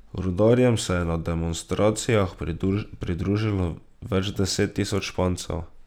Rudarjem se je na demonstracijah pridružilo več deset tisoč Špancev.